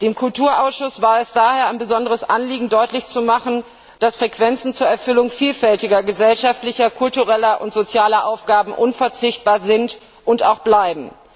Dem Ausschuss für Kultur und Bildung war es daher ein besonderes Anliegen, deutlich zu machen, dass Frequenzen zur Erfüllung vielfältiger gesellschaftlicher, kultureller und sozialer Aufgaben unverzichtbar sind und auch bleiben.